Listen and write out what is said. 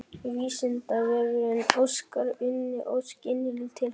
Vísindavefurinn óskar Unni Ósk innilega til hamingju.